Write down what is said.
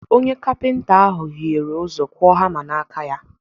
Onye kapịnta ahụ hiere ụzọ kụọ hama n’aka ya